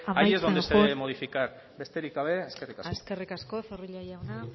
allí es donde se debe modificar besterik gabe eskerrik asko eskerrik asko zorrilla jauna